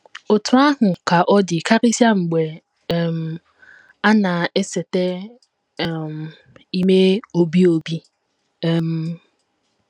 Otú ahụ ka ọ dị karịsịa mgbe um a na - esete um ime obi obi. um